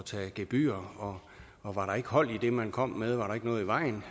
tage gebyrer og var der ikke hold i det man kom med altså var der ikke noget i vejen